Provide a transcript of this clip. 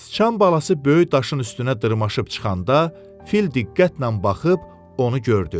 Sıçan balası böyük daşın üstünə dırmaşıb çıxanda, fil diqqətlə baxıb onu gördü.